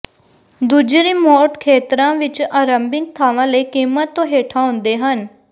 ਦੂੱਜੇ ਰਿਮੋਟ ਖੇਤਰਾਂ ਵਿਚ ਆਰੰਭਿਕ ਥਾਂਵਾਂ ਲਈ ਕੀਮਤ ਤੋਂ ਹੇਠਾਂ ਆਉਂਦੇ ਹਨ